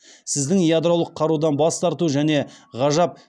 сіздің ядролық қарудан бас тарту және ғажап